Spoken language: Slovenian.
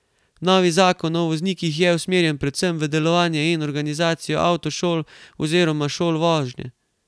Novi zakon o voznikih je usmerjen predvsem v delovanje in organizacijo avtošol oz šol vožnje.